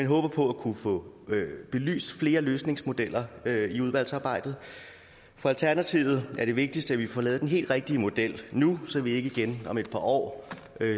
håber på at kunne få belyst flere løsningsmodeller i udvalgsarbejdet for alternativet er det vigtigste at vi får lavet den helt rigtige model nu så vi ikke om et par år